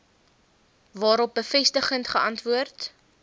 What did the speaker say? waarop bevestigend geantwoord